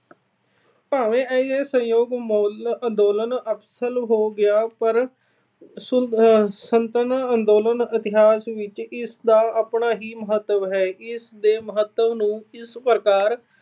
ਭਾਵੇਂ ਅਸਹਿਯੋਗ ਅੰਦੋਲਨ ਅਹ ਅਸਫਲ ਹੋ ਗਿਆ ਪਰ ਸੁਤੰਤਰਤਾ ਅੰਦੋਲਨ ਦੇ ਇਤਿਹਾਸ ਵਿੱਚ ਇਸ ਦਾ ਆਪਣਾ ਹੀ ਮਹੱਤਵ ਹੈ। ਇਸ ਦੇ ਮਹੱਤਵ ਨੂੰ ਇਸ ਪ੍ਰਕਾਰ